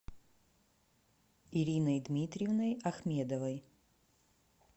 ириной дмитриевной ахмедовой